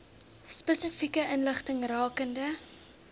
spesifieke inligting rakende